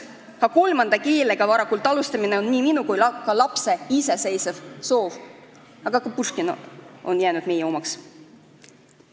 Ka kolmanda keelega varakult alustamine on minu soov ja mu lapse iseseisev soov, aga ka Puškin on jäänud meie omaks.